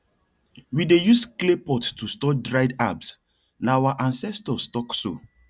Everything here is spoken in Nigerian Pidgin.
we dey use clay pot to store dried herbs na our ancestors talk so